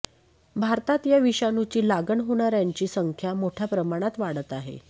भारतात या विषाणूची लागण होणाऱ्यांची संख्याही मोठ्या प्रमाणात वाढत आहे